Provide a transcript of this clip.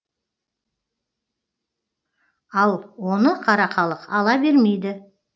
ал оны қара халық ала бермейді